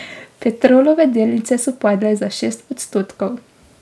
Petrolove delnice so padle za šest odstotkov.